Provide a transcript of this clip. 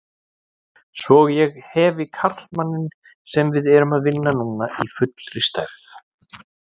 Svo ég hefi karlmanninn sem við erum að vinna núna í fullri stærð.